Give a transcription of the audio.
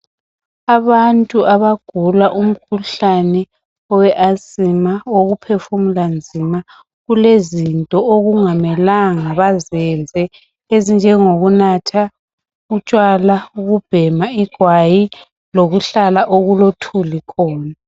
Abantu abagula umkhuhlane owe asima owokuphefumula nzima kulezinto okungamelanga bazenze ezinjengokunatha utshwala, ukubhema igwayi lokuhlala okulothuli khona.